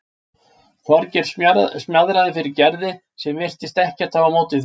Þorgeir smjaðraði fyrir Gerði sem virtist ekkert hafa á móti því.